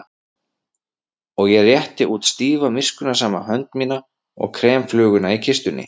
Og ég rétti út stífa miskunnsama hönd mína og krem fluguna í kistunni.